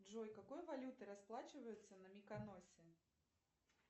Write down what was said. джой какой валютой расплачиваются на миконосе